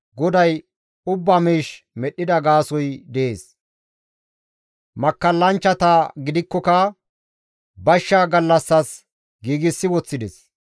GODAY ubbaa miish medhdhida gaasoykka dees; makkallanchchata gidikkoka bashsha gallassas giigsi woththides.